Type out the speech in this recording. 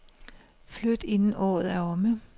Flyt inden året er omme.